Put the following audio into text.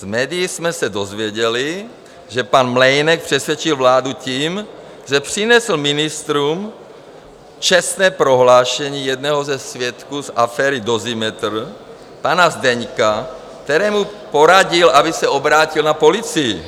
Z médií jsme se dozvěděli, že pan Mlejnek přesvědčil vládu tím, že přinesl ministrům čestné prohlášení jednoho ze svědků z aféry Dozimetr, pana Zdeňka, kterému poradil, aby se obrátil na policii.